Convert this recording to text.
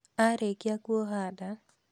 Arĩkia kuoha nda,